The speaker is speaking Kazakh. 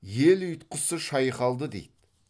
ел ұйтқысы шайқалды дейді